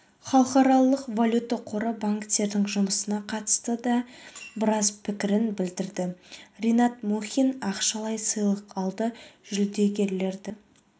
халықаралық валюта қоры банктердің жұмысына қатысты да біраз пікірін білдірді ринат мұхин ақшалай сыйлық алды жүлдегерді